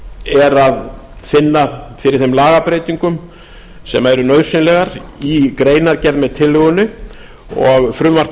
er að finna fyrir þeim lagabreytingum sem eru nauðsynlegar í greinargerð með tillögunni og frumvarp